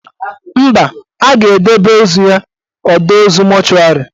Mba, a ga-edebe ozu ya ọdọ ozu mọchụarị